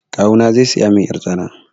Kawuna zai saya min yar tsana.